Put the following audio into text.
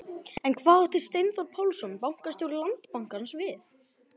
En hvað átti Steinþór Pálsson, bankastjóri Landsbankans við?